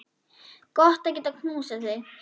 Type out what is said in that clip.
Gott að geta knúsað þig.